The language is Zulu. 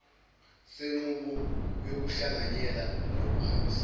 senqubo yokuhlanganyela nokuhambisana